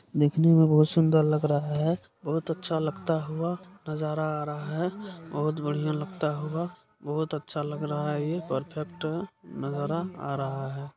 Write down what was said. देखने में बहुत सुंदर लग रहा है बहुत अच्छा लगता हुआ नजारा आ रहा है बहुत बढ़िया लगता होगा बहुत अच्छा लग रहा है ये परफेक्ट नजारा आ रहा है।